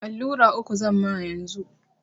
Allura uku zamma yanzu.